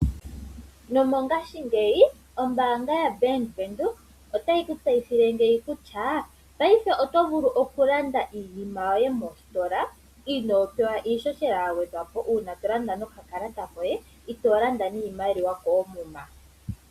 Nomongashingeyi ombaanga yaBank Windhoek otayi ku tseyithile kutya paife oto vulu okulanda iinima yoye mositola inoo pewa iihohela ya gwedhwa po uuna to landa nokakalata koye itoo landa niimaliwa koomuma.